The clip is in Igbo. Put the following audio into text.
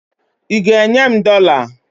ị ga-enye m dollar?